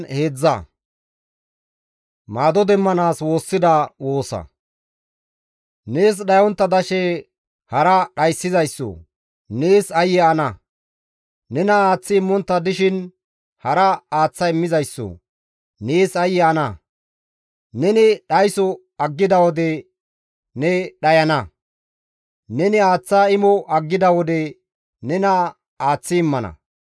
Nees dhayontta dashe hara dhayssizayssoo! Nees aayye ana! Nena aaththi immontta dishin hara aaththa immizayssoo! Nees aayye ana! Neni dhayso aggida wode ne dhayana; neni aaththa imo aggida wode nena aaththi immana.